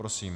Prosím.